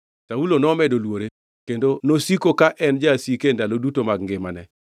Saulo nomedo luore, kendo nosiko ka en jasike e ndalo duto mag ngimane.